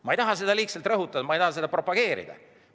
Ma ei taha seda liigselt rõhutada, ma ei taha seda propageerida.